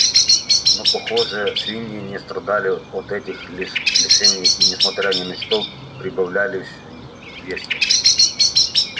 но похоже свиньи не страдали от этих лишений и несмотря ни на что прибавляли в весе